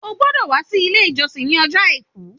O gbọ́dọ̀ wá sí Ilé ìjọsìn ní ọjọ́ Àìkú